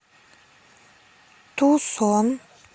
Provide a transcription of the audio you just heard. тусон